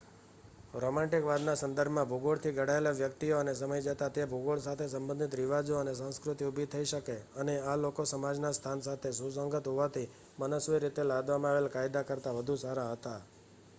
રોમેન્ટિકવાદના સંદર્ભમાં ભૂગોળથી ઘડાયેલી વ્યક્તિઓ અને સમય જતાં તે ભૂગોળ સાથે સંબંધિત રિવાજો અને સંસ્કૃતિ ઊભી થઈ અને આ લોકો સમાજના સ્થાન સાથે સુસંગત હોવાથી મનસ્વી રીતે લાદવામાં આવેલા કાયદા કરતાં વધુ સારા હતા